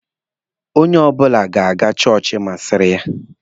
Onye ọbụla ga-aga chọọchị masịrị ya.